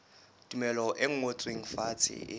tumello e ngotsweng fatshe e